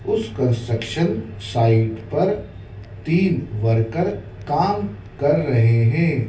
उस construction site पर तीन वर्कर काम कर रहे हैं।